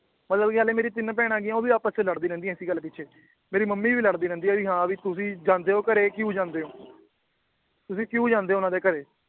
ਅਵਲ ਕਿ ਹੱਲੇ ਮੇਰੀ ਤਿੰਨ ਭੈਣਾਂ ਹੈਗੀਆਂ ਉਹ ਵੀ ਆਪਸ ਚ ਲੜਦੀ ਰਹਿੰਦੀਆਂ ਏਸੀ ਗੱਲ ਪਿਛੇ ਮੇਰੀ ਮਮ੍ਮੀ ਵੀ ਲੜਦੀ ਰਹਿੰਦੀ ਆ ਵੀ ਹਾਂ ਵੀ ਤੁਸੀ ਜਾਂਦੇ ਓ ਘਰੇ ਕਿਊ ਜਾਂਦੇ ਓ ਤੁਸੀ ਕਿਊ ਜਾਂਦੇ ਓ ਉਹਨਾਂ ਦੇ ਘਰੇ